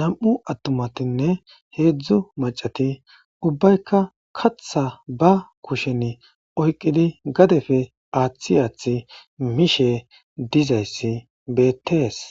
nam'u atumatinee heezhzhu maccati ubaykka kaththa ba kushshen oyqqidi gadefe aaththi aathth mishshe dizayssi bettesi.